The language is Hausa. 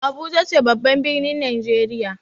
Abuja ce babban ɓirnin najeriya.